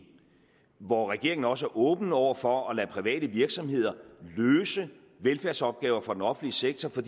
hvor regeringen også er åben over for at lade private virksomheder løse velfærdsopgaver for den offentlige sektor for